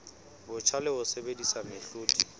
botjha le ho sebedisa mehlodi